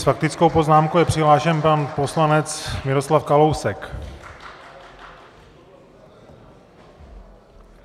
S faktickou poznámkou je přihlášen pan poslanec Miroslav Kalousek.